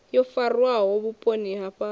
yo farwaho vhuponi ha fhano